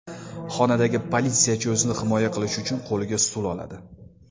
Xonadagi politsiyachi o‘zini himoya qilish uchun qo‘liga stul oladi.